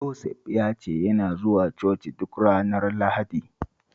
Joseph ya ce yana zuwa coci duk ranar Lahadi